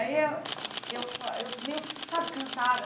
Aí, eu eu fa eu meio, sabe, cansada.